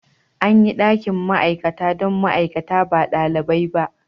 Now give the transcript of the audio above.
An yi dakin ma'aikata don ma'aikata ba ɗalibai ba.